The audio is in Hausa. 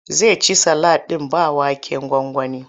Zai ci salak ɗin ba waken gwangwani.